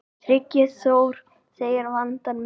Tryggvi Þór segir vandann mikinn.